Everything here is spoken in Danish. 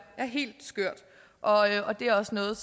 helt skørt og og det er også noget